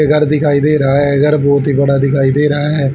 घर दिखाई दे रहा है घर बहुत ही बड़ा दिखाई दे रहा है।